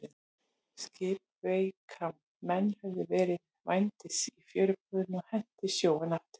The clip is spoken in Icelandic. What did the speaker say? Skipreika menn höfðu verið rændir í fjöruborðinu og hent í sjóinn aftur.